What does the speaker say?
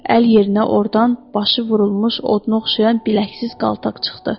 Əl yerinə ordan başı vurulmuş oda oxşayan biləksiz qaltaq çıxdı.